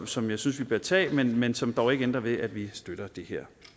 som jeg synes vi bør tage men men som dog ikke ændrer ved at vi støtter det her